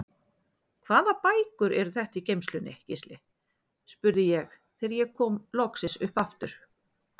Hvaða bækur eru þetta í geymslunni, Gísli? spurði ég þegar ég kom loksins upp aftur.